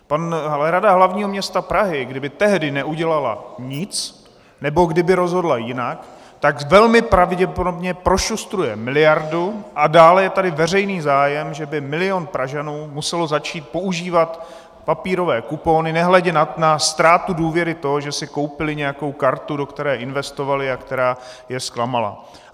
Ale Rada hlavního města Prahy, kdyby tehdy neudělala nic nebo kdyby rozhodla jinak, tak velmi pravděpodobně prošustruje miliardu, a dále je tady veřejný zájem, že by milion Pražanů musel začít používat papírové kupony, nehledě na ztrátu důvěry toho, že si koupili nějakou kartu, do které investovali a která je zklamala.